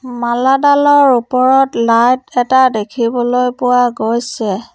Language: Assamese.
মালাডালৰ ওপৰত লাইট এটা দেখিবলৈ পোৱা গৈছে।